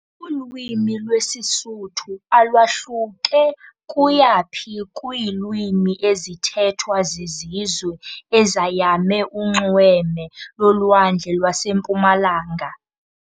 Ulwimi lwesiSuthu alwahluke kuya phi kwiilwimi ezithethwa zizizwe ezayame unxweme lolwandle lwasempumalanga.